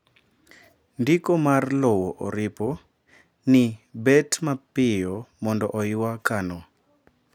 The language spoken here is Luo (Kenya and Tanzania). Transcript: ndiko mar lowo oripo ni bet mapiyo mondo oywa kano